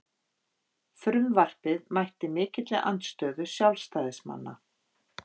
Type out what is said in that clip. Frumvarpið mætti mikilli andstöðu sjálfstæðismanna